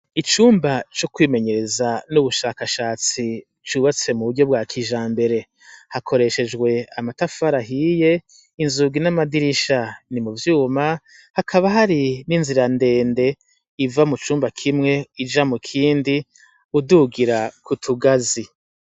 Icumba co kwimenyereza n'ubushakashatsi cubatse mu buryo bwa kija mbere hakoreshejwe amatafarahiye inzugi n'amadirisha ni mu vyuma hakaba hari n'inzira ndende iva mu cumba kimwe ija mu kindi udugira ku tugazi.